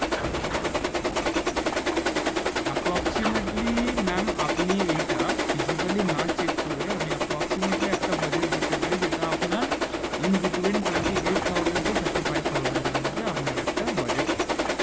approximately ma'am আপনি এইটা physically না check করে আমি approximately একটা budget দিতে পারি যেট আপনার in between Twenty Eight Thousand Thirty-five thousand এর মধ্যে আপনার একটা budget হবে